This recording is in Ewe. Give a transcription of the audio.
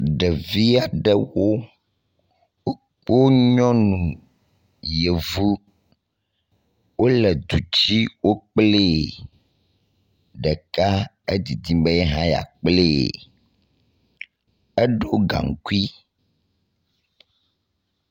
Ɖevi aɖewo wo wo nyɔnu yevu wo le du dzi wo kple ɖeka hã edzidzim be yeha yakple. Eɖo gaŋkui.